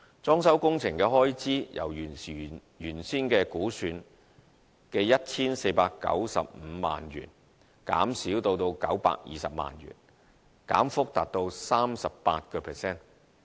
裝修工程的開支由原來估算的 1,495 萬元減少至920萬元，減幅達 38%。